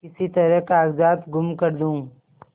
किसी तरह कागजात गुम कर दूँ